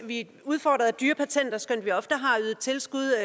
vi er udfordret af dyre patenter skønt vi ofte har ydet tilskud